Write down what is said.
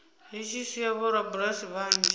zwi tshi sia vhorabulasi vhanzhi